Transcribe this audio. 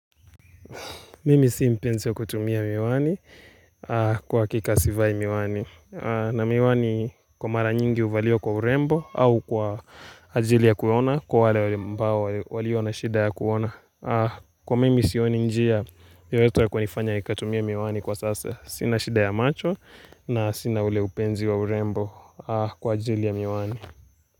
Mimi sii mpenzi ya kutumia miwani kwa hakika sivai miwani. Na miwani kwa mara nyingi huvaliwa kwa urembo au kwa ajili ya kuona kwa wale ambao walio na shida ya kuona. Kwa mimi siioni njia yoyote ya kuifanya nikatumia miwani kwa sasa. Sina shida ya macho na sina ule upenzi wa urembo kwa ajili ya miwani.